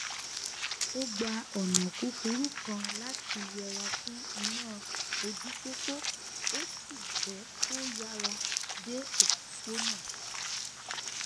ó gba ònà kúkúrú kan láti yẹra fún iná ojúpópó ó sì jé kó yára dé òpópónà